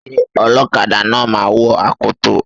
Ṣé ọlọ́kadà náà máa wọ akoto?